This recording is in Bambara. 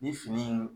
Ni fini